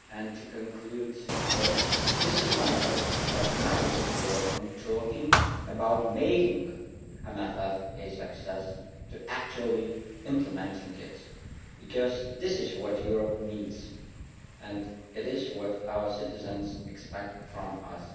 To conclude, it is my hope that now we can go from talking about making the MFF a success to actually implementing it, because that is what Europe needs and it is what our citizens expect from us.